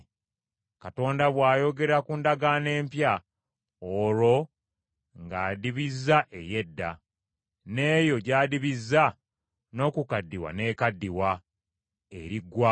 Katonda bw’ayogera ku ndagaano empya, olwo ng’andibizza ey’edda; n’eyo gy’adibizza n’okukaddiwa n’ekaddiwa, eriggwaawo.